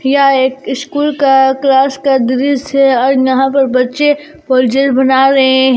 यह एक स्कूल का क्लास का दृश्य और यहां पर बच्चे कोई चीज बना रहे हैं।